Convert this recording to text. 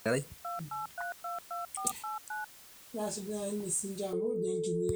ore lareshok nedol ate too mbaa torok naidim ataasata too naiposha o ilturot tenkata el nino